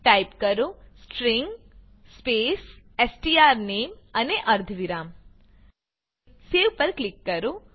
type કરો string space strname અને અર્ધવિરામ સેવ પર ક્લિક કરો